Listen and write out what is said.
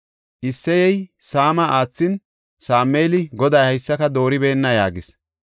Isseyey Saama aathin, Sameeli, “Goday haysaka dooribeenna” yaagis.